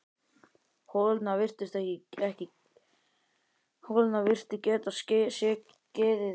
Holurnar virtust geta skekið tennur úr munninum.